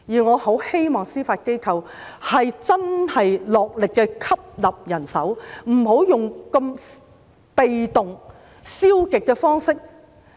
我很希望司法機構能真正落力吸納人手，不要採用如此被動和消極的方式。